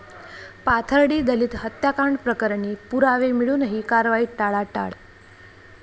पाथर्डी दलित हत्याकांड प्रकरणी पुरावे मिळुनही कारवाईत टाळाटाळ